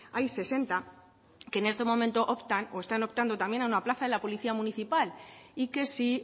hay sesenta que en este momento optan o están optando también a una plaza en la policía municipal y que si